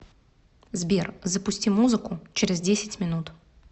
сбер запусти музыку через десять минут